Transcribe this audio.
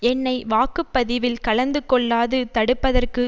என்னை வாக்குபதிவில் கலந்துகொள்ளாது தடுப்பதற்கு